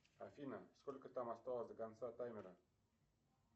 афина сколько там осталось до конца таймера